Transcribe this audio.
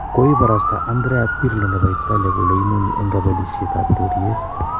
koiparasta Andrea Pirlo nepo italia kole imunye en kopelisiet ab ureriet.